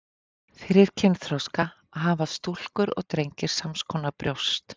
fyrir kynþroska hafa stúlkur og drengir sams konar brjóst